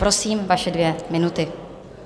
Prosím, vaše dvě minuty.